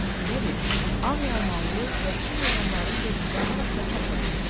Elə bil ağ yalmanlı vəhşi heyvanların belində harasa çapırdı.